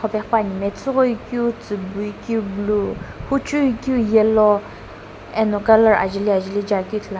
ghipane matsoghoi keu tsiibui keu blu hujue keu yellow ani colour ajaeli ajelii ithulu ane.